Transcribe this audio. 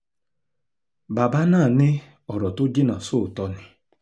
bàbá náà ní ọrọ̀ tó jìnnà sóòótọ́ ni